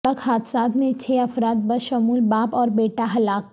سڑک حادثات میں چھ افراد بشمول باپ اور بیٹا ہلاک